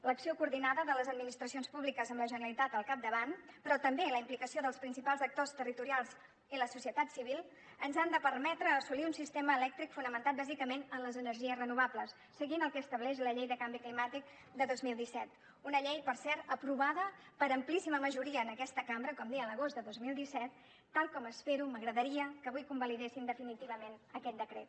l’acció coordinada de les administracions públiques amb la generalitat al capdavant però també la implicació dels principals actors territorials i la societat civil ens han de permetre assolir un sistema elèctric fonamentat bàsicament en les energies renovables seguint el que estableix la llei de canvi climàtic de dos mil disset una llei per cert aprovada per amplíssima majoria en aquesta cambra com deia l’agost de dos mil disset tal com espero m’agradaria que avui convalidessin definitivament aquest decret